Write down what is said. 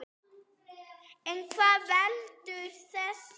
En hvað veldur þessu?